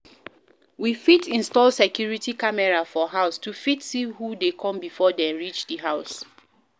We fit install security camera for house to fit see who dey come before dem reach di house